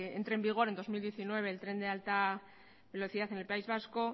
entre en vigor en dos mil diecinueve el tren de alta velocidad en el país vasco